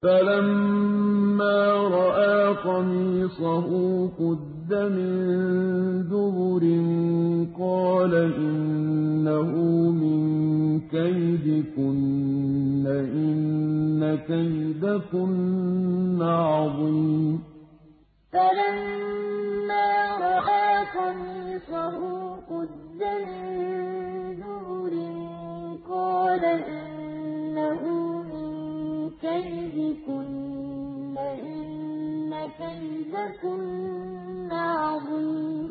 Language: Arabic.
فَلَمَّا رَأَىٰ قَمِيصَهُ قُدَّ مِن دُبُرٍ قَالَ إِنَّهُ مِن كَيْدِكُنَّ ۖ إِنَّ كَيْدَكُنَّ عَظِيمٌ فَلَمَّا رَأَىٰ قَمِيصَهُ قُدَّ مِن دُبُرٍ قَالَ إِنَّهُ مِن كَيْدِكُنَّ ۖ إِنَّ كَيْدَكُنَّ عَظِيمٌ